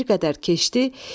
Və bir qədər keçdi,